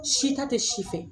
Si ta tɛ si fɛ.